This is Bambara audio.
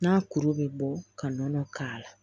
N'a kuru bɛ bɔ ka nɔnɔ k'a la